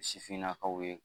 Sifinnakaw ye